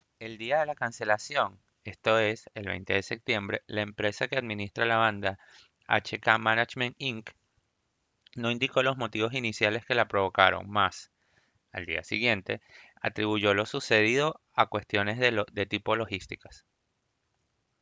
el día de la cancelación esto es el 20 de septiembre la empresa que administra la banda hk management inc no indicó los motivos iniciales que la provocaron mas al día siguiente atribuyó lo sucedido a cuestiones de tipo logísticas